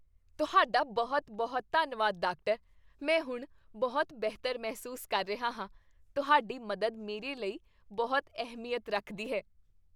ਤੁਹਾਡਾ ਬਹੁਤ ਬਹੁਤ ਧੰਨਵਾਦ, ਡਾਕਟਰ! ਮੈਂ ਹੁਣ ਬਹੁਤ ਬਿਹਤਰ ਮਹਿਸੂਸ ਕਰ ਰਿਹਾ ਹਾਂ ਤੁਹਾਡੀ ਮਦਦ ਮੇਰੇ ਲਈ ਬਹੁਤ ਅਹਿਮੀਅਤ ਰੱਖਦੀ ਹੈ